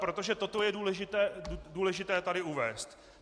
Protože toto je důležité tady uvést.